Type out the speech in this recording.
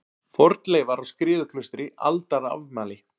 Fornleifar á Skriðuklaustri Aldarafmæli.